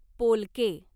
पोलके